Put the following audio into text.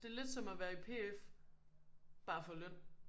Det er lidt som at være i P F bare for løn